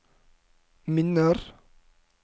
minner